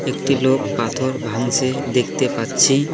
একটি লোক পাথর ভাঙছে দেখতে পাচ্ছি।